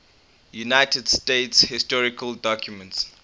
united states historical documents